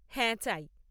হ্যাঁ চাই।